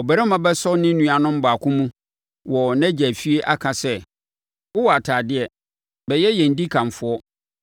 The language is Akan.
Ɔbarima bɛsɔ ne nuanom baako mu wɔ nʼagya efie aka sɛ, “Wowɔ atadeɛ, bɛyɛ yɛn dikanfoɔ;